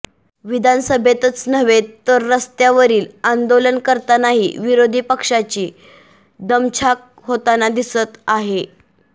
विधानसभेतच नव्हे तर रस्त्यावरील आंदोलन करतानाही विरोधी पक्षांची दमछाक होताना दिसत आहे